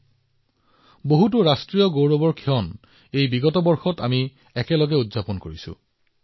আমি বহু বছৰ ধৰি একেলগে ৰাষ্ট্ৰীয় গৌৰৱৰ বহুতো মুহূৰ্ত অনুভৱ কৰিছো